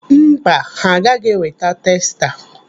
Mba, ha agaghị eweta testa.